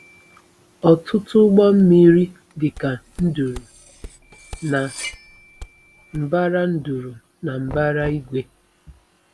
Otutu ụgbọ mmiri dị ka nduru na mbara nduru na mbara igwe